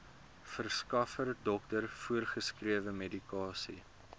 verskaffer dokter voorgeskrewemedikasie